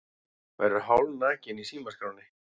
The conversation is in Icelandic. Verður hálfnakinn í símaskránni